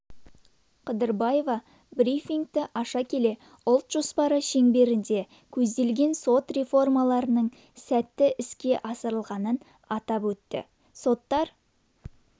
қыдырбаева брифингті аша келе ұлт жоспары шеңберінде көзделген сот реформаларының сәтті іске асырылғанын атап өтті соттар